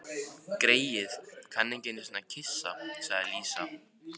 Greyið, kann ekki einusinni að kyssa, sagði Lísa.